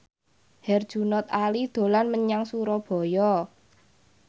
Herjunot Ali dolan menyang Surabaya